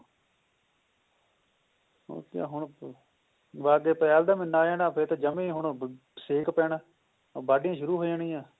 ਬਸ ਅੱਗੇ ਅਪ੍ਰੈਲ ਦਾ ਮਹੀਨਾ ਆ ਜਾਣਾ ਫੇਰ ਤਾਂ ਜਮੀ ਹੁਣ ਸੇਕ ਪੈਣਾ ਵਾਡੀਆਂ ਸ਼ੁਰੂ ਹੋ ਜਾਣਿਆ